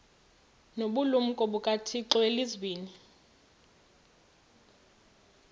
nobulumko bukathixo elizwini